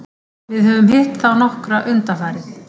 Við höfum hitt á þá nokkra undanfarið.